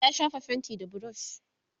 ya shafa fainti da burush